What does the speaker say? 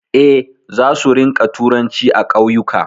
Eh, za su rinƙa turanci a ƙauyuka